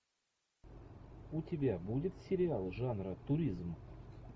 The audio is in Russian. у тебя будет сериал жанра туризм